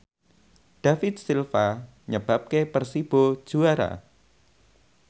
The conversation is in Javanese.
David Silva nyebabke Persibo juara